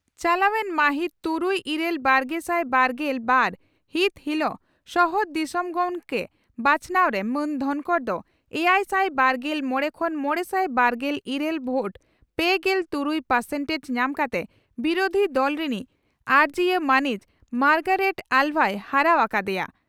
ᱪᱟᱞᱟᱣᱮᱱ ᱢᱟᱹᱦᱤᱛ ᱛᱩᱨᱩᱭ ᱤᱨᱟᱹᱞ ᱵᱟᱨᱜᱮᱥᱟᱭ ᱵᱟᱨᱜᱮᱞ ᱵᱟᱨ ᱦᱤᱛ ᱦᱤᱞᱚᱜ ᱥᱚᱦᱚᱫ ᱫᱤᱥᱚᱢ ᱜᱚᱢᱠᱮ ᱵᱟᱪᱷᱱᱟᱣ ᱨᱮ ᱢᱟᱹᱱ ᱫᱷᱚᱱᱠᱚᱨ ᱫᱚ ᱮᱭᱟᱭᱥᱟᱭ ᱵᱟᱨᱜᱮᱞ ᱢᱚᱲᱮ ᱠᱷᱚᱱ ᱢᱚᱲᱮᱥᱟᱭ ᱵᱟᱨᱜᱮᱞ ᱤᱨᱟᱹᱞ ᱵᱷᱳᱴ ᱯᱮᱜᱮᱞ ᱛᱩᱨᱩᱭ ᱯᱟᱨᱥᱮᱱᱴᱮᱡᱽ) ᱧᱟᱢ ᱠᱟᱛᱮ ᱵᱤᱨᱩᱫᱷᱤ ᱫᱚᱞ ᱨᱤᱱᱤᱡ ᱟᱨᱚᱡᱤᱭᱟᱹ ᱢᱟᱹᱱᱤᱡ ᱢᱟᱨᱜᱟᱨᱮᱴ ᱟᱞᱵᱷᱟᱭ ᱦᱟᱨᱟᱣ ᱟᱠᱟ ᱫᱮᱭᱟ ᱾